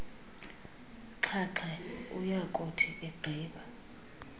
xhaxhe uyakuthi egqiba